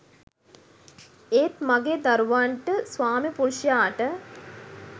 ඒත් මගේ දරුවන්ට ස්වාමිපුරුෂයාට